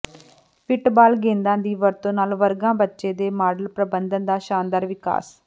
fit ball ਗੇਂਦਾਂ ਦੀ ਵਰਤੋਂ ਨਾਲ ਵਰਗਾਂ ਬੱਚੇ ਦੇ ਮਾਡਲ ਪ੍ਰਬੰਧਨ ਦਾ ਸ਼ਾਨਦਾਰ ਵਿਕਾਸ